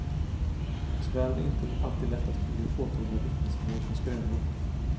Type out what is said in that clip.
Tyvärr är det inte alltid lätt att skilja påtagliga vittnesmål från skrönor.